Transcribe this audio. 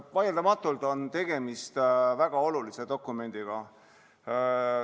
Vaieldamatult on tegemist väga olulise dokumendiga.